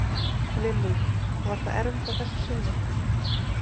Lillý: Var það erfitt að þessu sinni?